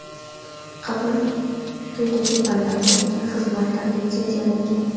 Qabul quydagi fanlar bo‘yicha: Xizmatlar litsenziyalangan.